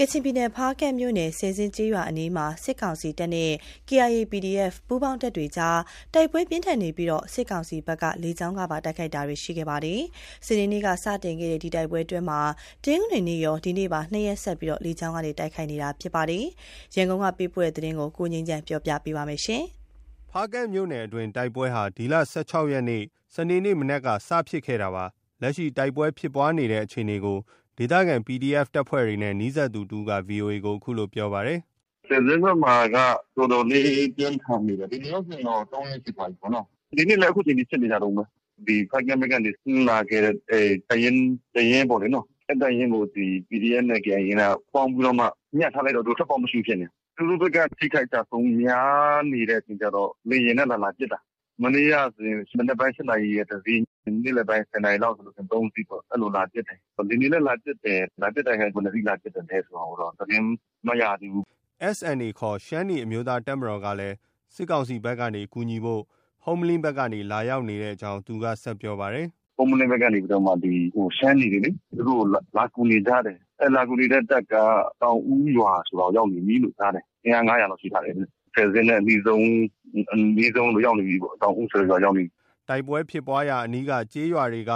ကချင်ပြည်နယ် ဖားကန့်မြို့နယ် ဆယ်ဇင်းကျေးရွာအနီးမှာ စစ်ကောင်စီတပ်နဲ့ KIA ၊ PDF ပူးပေါင်း တပ်တွေကြား တိုက်ပွဲပြင်းထန်နေပြီး စစ်ကောင်စီဘက်က လေကြောင်းကပါ တိုက်ခိုက်နေပါတယ်။ စနေနေ့က စတင်ခဲ့တဲ့ ဒီတိုက်ပွဲအတွင်းမှာ တနင်္ဂနွေနေ့ကရော ဒီကနေ့ပါ ၂ ရက်ဆက် လေကြောင်းက တိုက်ခိုက်နေတာဖြစ်ပါတယ်။ ရန်ကုန်က လာတဲ့ ဒီသတင်းကို ကိုငြိမ်းချမ်းက တင်ပြပေးထားပါတယ်။ ဖားကန့်မြို့နယ်အတွင်း တိုက်ပွဲဟာ ဒီလ ၁၆ ရက်နေ့ စနေနေ့ မနက်က စတင်ဖြစ်ခဲ့တာပါ။ လက်ရှိ တိုက်ပွဲဖြစ်ပွားနေတဲ့အခြေအနေကို ဒေသခံ PDF တပ်ဖွဲ့တွေနဲ့ နီးစပ်သူတဦးက VOA ကို အခုလို ပြောပါတယ်။ “ ဆယ်ဇင်းဘက်မှာက တော်တော်လေး ပြင်းထန်နေတယ်။ ဒီနေ့ရောဆိုရင် တော့ ၃ ရက်ရှိသွားပြီပေါ့။ အခုချိန်ထိ ဖြစ်နေကြတုန်းပဲ။ ဖားကန့်ဘက်ကနေ ဆင်းလာခဲ့တဲ့တပ်ရင်း တရင်းပေါ့လေ။ အဲဒီတပ်ရင်းကို ဒီ PDF နဲ့ KIA က ပေါင်းပြီးတော့မှ ညှပ်ထားလိုက်တော့ သူတို့ ထွက်ပေါက်မရှိဘူး ဖြစ်နေတာ။ သူတို့ဘက်က အထိအခိုက်အကျအဆုံး များနေတော့ လေယာဉ်နဲ့ လာလာပစ်တာ။ မနေ့ကဆိုရင် မနက်ပိုင်း ၈ နာရီက တစီး၊ နေ့လည်ပိုင်း ၁၀ နာရီလောက်ဆို ၃ စီးပေါ့။ အဲလို လာပစ်တယ်။ ဒီနေ့လည်း လာပစ်တယ်။ လာပစ်တဲ့ဟာ ဘယ်နှစ်စီးလာပစ်တယ်ဆိုတာကိုတော့ သတင်းမရသေးဘူး။” SNA ခေါ် ရှမ်းနီးအမျိုးသားတပ်မတော်ကလည်း စစ်ကောင်စီတပ်ဘက်ကနေ ကူညီဖို့ ဟုမ္မလင်းဘက် ကနေ လာရောက်နေကြောင်းလည်း သူက ဆက်ပြောပါတယ်။ “ ဟုမ္မလင်းဘက်ကနေလေ ရှမ်းနီတွေ သူတို့ လာကူနေကြတယ်။ အဲဒီလာကူနေတဲ့တပ်က သောင်ဦးရွာရောက်နေပြီလို့ ကြားတယ်။ အင်အား ၅၀၀ လောက် ရှိထားတယ်တဲ့။ ဆယ်ဇင်းနဲ့အနီးဆုံး ရောက်နေပြီပေါ့။ သောင်ဦးဆိုတဲ့ရွာရောက်နေပြီ။” တိုက်ပွဲဖြစ်ပွားရာအနီးကျေးရွာက